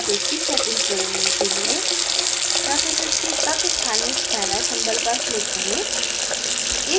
surface की settings बदलने के लिए surface के तत्स्थानी spanner symbol पर click करें